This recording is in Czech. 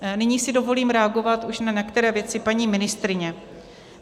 Nyní si dovolím reagovat už na některé věci paní ministryně.